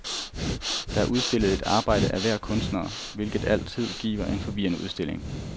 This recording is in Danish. Der er udstillet et arbejde af hver kunstner, hvilket altid giver en forvirrende udstilling.